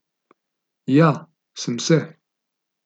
Ja, sem se.